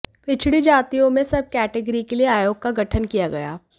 पिछड़ी जातियों में सब कैटेगरी के लिए आयोग का गठन किया गया